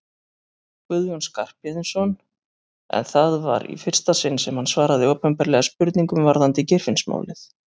Guðjón Skarphéðinsson en það var í fyrsta sinn sem hann svaraði opinberlega spurningum varðandi Geirfinnsmálið.